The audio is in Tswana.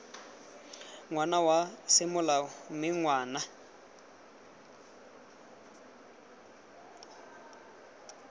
ngwana wa semolao mme ngwana